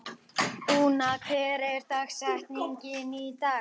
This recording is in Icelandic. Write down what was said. Úna, hver er dagsetningin í dag?